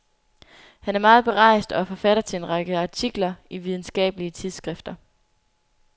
Han er meget berejst og er forfatter til en række artikler i videnskabelige tidsskrifter.